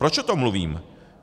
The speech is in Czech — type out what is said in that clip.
Proč o tom mluvím?